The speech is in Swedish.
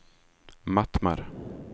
Mattmar